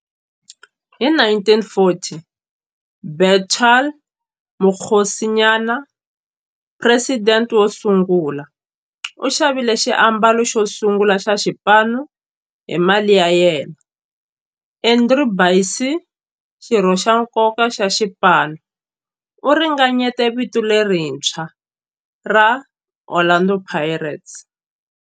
Hi 1940, Bethuel Mokgosinyane, president wosungula, u xavile xiambalo xosungula xa xipano hi mali ya yena. Andrew Bassie, xirho xa nkoka xa xipano, u ringanyete vito lerintshwa ra 'Orlando Pirates'.